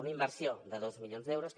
una inversió de dos milions d’euros que